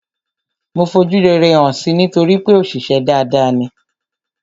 Mo fojú rere hàn si nítorípé òṣìṣę dada ni.